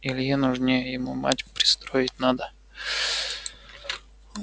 илье нужнее ему мать пристроить надо